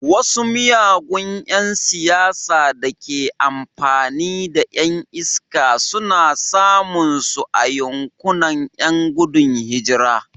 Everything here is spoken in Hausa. Wasu miyagun ’yan siyasa da ke amfani da ’yan iska suna samun su a yankunan ’yan gudun hijira.